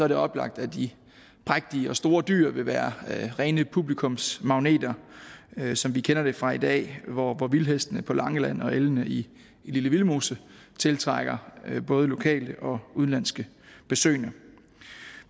det oplagt at de prægtige og store dyr vil være rene publikumsmagneter som vi kender det fra i dag hvor vildhestene på langeland og elgene i lille vildmose tiltrækker både lokale og udenlandske besøgende